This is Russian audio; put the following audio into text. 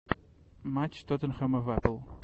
матч тоттенхэма в апл